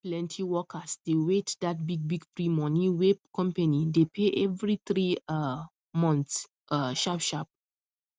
plenty workers dey wait that big big free money wey company dey pay every three um months um sharp sharp